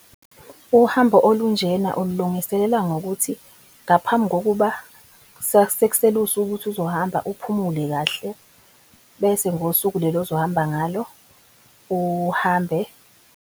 Uhambo olunjena ululungiselela ngokuthi ngaphambi kokuba sekusele usuku ukuthi uzohamba uphumule kahle bese ngosuku leli ozohamba ngalo uhambe.